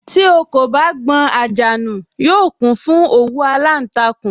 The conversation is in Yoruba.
Tí ò kò bá gbọn àjà nù, yóò kún fún òwú aláǹtakùn